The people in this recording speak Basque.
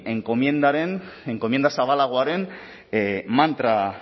enkomienda zabalagoaren